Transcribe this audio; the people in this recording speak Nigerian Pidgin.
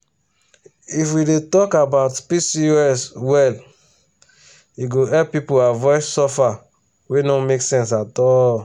if we dey talk about pcos well e go help people avoid suffer wey no make sense at all.